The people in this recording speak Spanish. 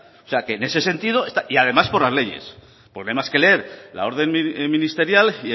además por las leyes porque no hay más que leer la orden ministerial